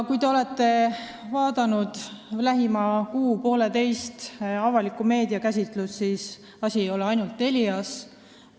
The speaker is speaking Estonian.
Kui te olete möödunud kuu-poolteise jooksul jälginud avalikku meediakäsitlust, siis te teate, et asi ei ole ainult Telias.